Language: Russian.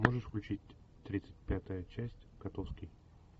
можешь включить тридцать пятая часть котовский